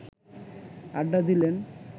আড্ডা দিলেন